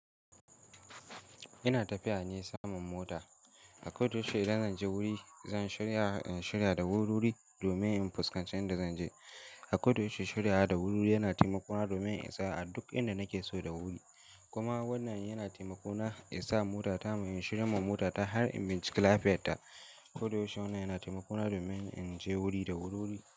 Ina tafiya ne samun mota. A koda yaushe idan zan je wuri, zan shirya, in shirya da wururi domin in fuskance inda zan je. A koda yaushe shirya da wururi yana taimako na domin in tsaya a duk inda nake so da wuri. Kuma wannan yana taimako na in sa mota ta mu in shirya mu mota ta har in bincika lafiyarta. Koda yaushe wannan yana taimako na domin in je wuri da wururi.